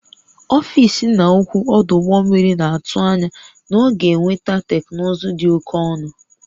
Ọfịs nna ukwu ọdụ ụgbọ mmiri na-atụ anya na ọ ga-enweta teknụzụ dị oke ọnụ